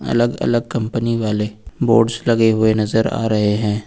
अलग अलग कंपनी वाले बोर्ड्स लगे हुए नजर आ रहे हैं।